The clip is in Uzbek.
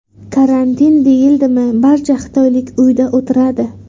Karantin deyildimi barcha xitoylik uyda o‘tiradi.